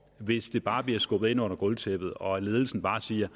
hvis det bare bliver skubbet ind under gulvtæppet og ledelsen bare siger